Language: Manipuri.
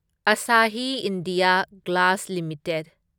Asahi India glass limited